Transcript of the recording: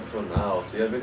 profissional, tem a ver